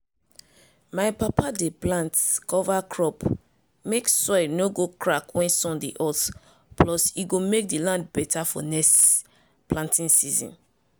my papa dey plant cover crop mek soil no go crack when sun dey hot plus e go make di land better for next planting season.